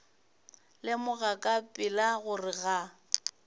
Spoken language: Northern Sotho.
lemoga ka pela gore ga